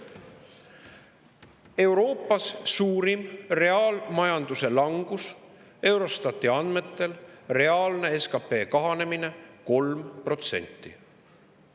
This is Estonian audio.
Euroopa suurim reaalmajanduse langus, Eurostati andmetel on reaalne SKP kahanemine 3%.